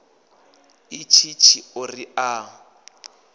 a itshi tshiṱori a a